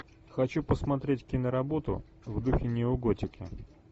хочу посмотреть киноработу в духе неоготики